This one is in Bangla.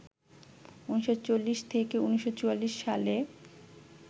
১৯৪০ থেকে ১৯৪৪ সালে